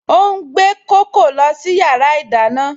Ó ń gbé kókò lọ sí yàrá ìdáná